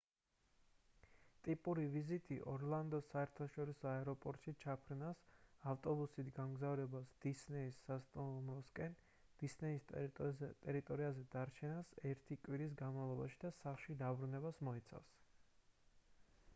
ტიპური ვიზიტი ორლანდოს საერთაშორისო აეროპორტში ჩაფრენას ავტობუსით გამგზავრებას დისნეის სასტუმროსკენ დისნეის ტერიტორიაზე დარჩენას ერთი კვირის განმავლობაში და სახლში დაბრუნებას მოიცავს